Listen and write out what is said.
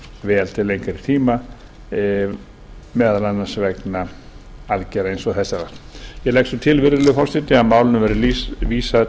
vel til lengri tíma meðal annars annars vegna aðgerða sem þessara ég legg til virðulegur forseti að málinu verði vísað